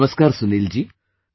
Namaskar Sunil ji,